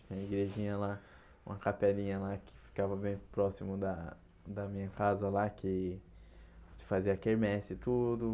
Tem uma igrejinha lá, uma capelinha lá, que ficava bem próximo da da minha casa lá, que que fazia quermeses e tudo.